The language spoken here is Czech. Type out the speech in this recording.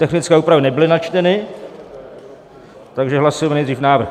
Technické úpravy nebyly načteny, takže hlasujeme nejdřív návrh